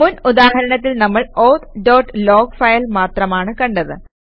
മുൻ ഉദാഹരണത്തിൽ നമ്മൾ ഔത്ത് ഡോട്ട് ലോഗ് ഫയൽ മാത്രമാണ് കണ്ടത്